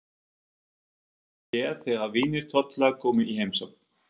Það höfðu strákarnir séð þegar vinir Tolla komu í heimsókn.